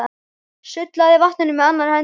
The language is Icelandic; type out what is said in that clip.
Sullaði í vatninu með annarri hendi.